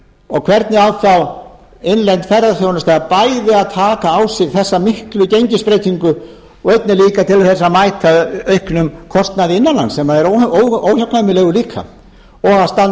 prósent hvernig á þá innlend ferðaþjónusta bæði að taka á sig þessa miklu gengisbreytingu og einnig líka til að mæta auknum kostnaði innanlands sem er óhjákvæmilegur líka og að standa